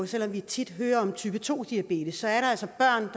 selv om vi tit hører om type to diabetes er der altså